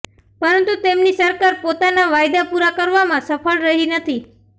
પરંતુ તેમની સરકાર પોતાના વાયદા પુરા કરવામાં સફળ રહી નથી